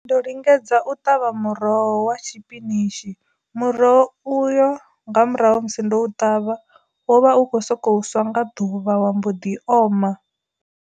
Ndo lingedza u ṱavha muroho wa tshipinishi muroho uyu nga murahu musi ndo ṱavha wo vha u kho soko swa nga ḓuvha wa mbo ḓi oma.